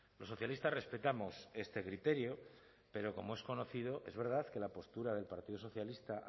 los socialistas respetamos este criterio pero como es conocido es verdad que la postura del partido socialista